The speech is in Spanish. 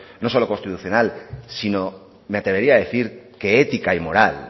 no solo constitucional sino me atrevería a decir que ética y moral